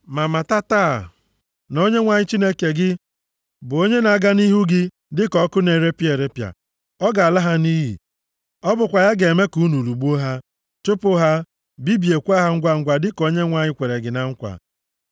Ma mata taa na Onyenwe anyị Chineke gị bụ onye na-aga nʼihu gị dịka ọkụ na-erepịa erepịa. Ọ ga-ala ha nʼiyi. Ọ bụkwa ya ga-eme ka unu lụgbuo ha, chụpụ ha, bibiekwa ha ngwangwa dịka Onyenwe anyị kwere gị na nkwa.